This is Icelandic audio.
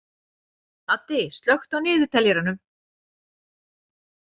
Addi, slökktu á niðurteljaranum.